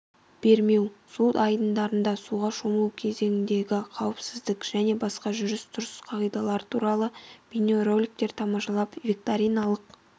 бермеу су айдындарында суға шомылу кезеңіндегі қауіпсіздік және басқа жүріс-тұрыс қағидалары туралы бейнероликтерді тамашалап викториналық